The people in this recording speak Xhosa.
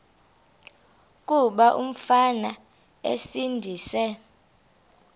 kuba umfana esindise